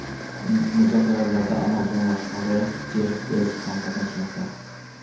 Muzokaralarda Amazon rahbari Jeff Bezos ham qatnashmoqda.